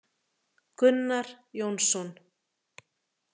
Gunnar Jónsson.